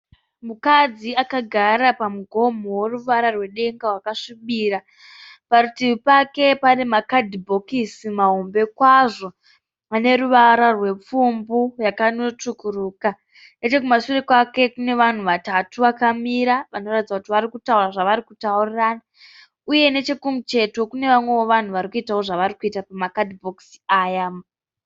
Mukadzi akagara pamugomo weruvara rwedenga wakasvibira. Parutivi pake pane makadhibhokisi mahombe kwazvo aneruvara rwepfumbu yakanotsvukuruka. Nechekumashure kwake kune vanhu vatatu vakamira vanoratidza kuti varikutaura zvavarikutaurirana uyewo nechekumucheto kune vamwewo vanhu vane zvavarikuita pamakadhibhokisi aya.